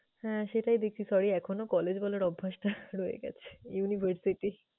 হ্যাঁ, সেটাই দেখছি sorry এখনো college বলার অভ্যাসটা রয়ে গেছে university ।